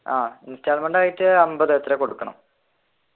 ആഹ് installment ആയിട്ട് അൻപത് എത്രയോ കൊടുക്കണം.